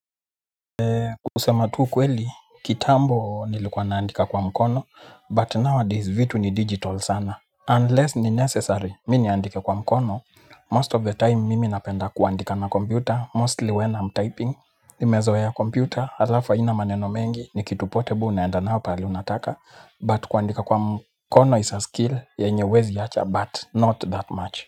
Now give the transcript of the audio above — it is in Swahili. Kusema tu ukweli, kitambo nilikuwa naandika kwa mkono, but nowadays vitu ni digital sana. Unless ni necessary, mimi niandike kwa mkono, most of the time mimi napenda kuandika na computer, mostly when I'm typing. Nimezoea computer, alafu haina maneno mengi, ni kitu portable naenda nayo pahqli unataka. But kuandika kwa mkono is a skill, yenye huwezi wacha, but not that much.